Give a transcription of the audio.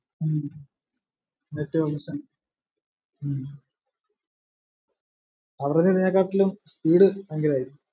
ഹും net വലിക്കാ ഉം അവര് പറഞ്ഞേകാട്ടിലും speed ഭയങ്കരാരിക്കും